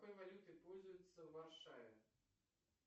какой валютой пользуются в варшаве